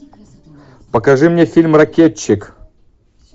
покажи мне фильм ракетчик